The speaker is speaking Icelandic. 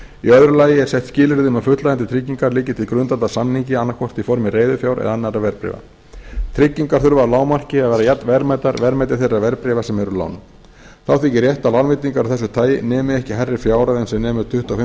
í öðru lagi eru sett skilyrði um að fullnægjandi tryggingar liggi til grundvallar samningi annað hvort í formi reiðufjár eða annarra verðbréfa tryggingar þurfa að lágmarki að vera jafnverðmætar verðmæti þeirra verðbréfa sem árum lánuð þá þykir rétt að lánveitingar af þessu tagi nemi ekki hærri fjárhæð en sem nemur tuttugu og fimm prósent